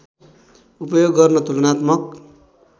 उपयोग गर्न तुलनात्मक